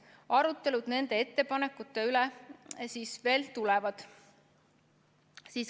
Arutelud nende ettepanekute üle veel tulevad.